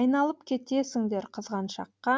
айналып кетесіңдер қызғаншаққа